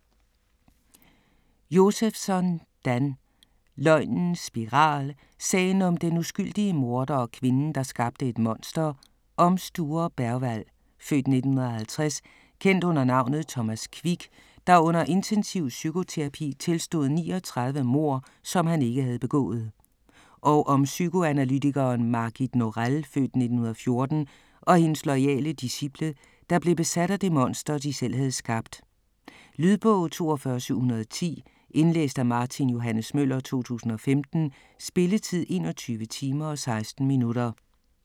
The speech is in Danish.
Josefsson, Dan: Løgnens spiral: sagen om den uskyldige morder og kvinden der skabte et monster Om Sture Bergwall (f. 1950), kendt under navnet Thomas Quick, der under intensiv psykoterapi tilstod 39 mord, som han ikke havde begået. Og om psykoanalytikeren Margit Norell (f. 1914) og hendes loyale disciple, der blev besat af det monster, de selv havde skabt. Lydbog 42710 Indlæst af Martin Johs. Møller, 2015. Spilletid: 21 timer, 16 minutter.